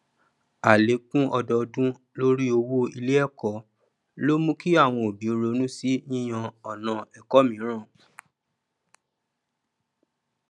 àlékún ọdọọdún lorí owó iléẹkọ ló mú kí àwọn òbí ronú sí yíyàn ọnà ẹkọ mìíràn